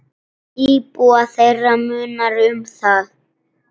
Íbúa þeirra munar um það.